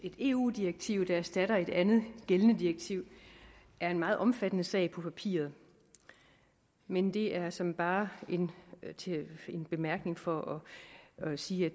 eu direktiv der erstatter et andet gældende direktiv er en meget omfattende sag på papiret men det er såmænd bare en en bemærkning for at sige at